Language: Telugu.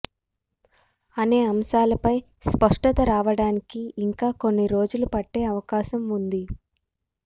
అనే అంశాలపై స్పష్టత రావడానికి ఇంకా కొన్ని రోజులు పట్టే అవకాశం ఉంది